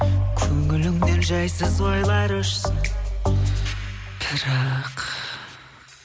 көңіліңнен жайсыз ойлар өшсін бірақ